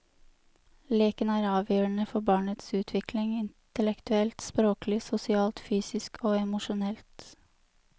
Leken er avgjørende for barnets utvikling, intellektuelt, språklig, sosialt, fysisk og emosjonelt.